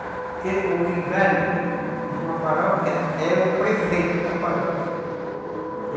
Porque o vigário, numa paróquia, é o prefeito da paróquia.